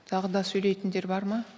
тағы да сөйлейтіндер бар ма